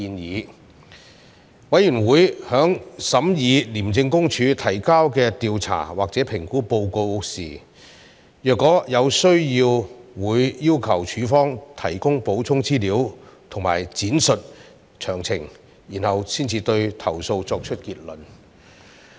若有需要，委員會在審議廉政公署提交的調查或評估報告時會要求署方提供補充資料及闡述詳情，然後才對投訴作出結論。